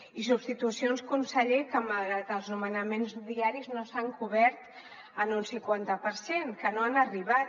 i substitucions conseller que malgrat els nomenaments diaris no s’han cobert en un cinquanta per cent que no han arribat